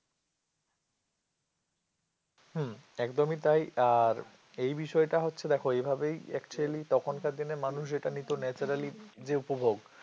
হম একদমই তাই আর এই বিষয়টা হচ্ছে দেখো এভাবেই actually তখনকার দিনের মানুষ যেটা নিতো naturally যে উপভোগ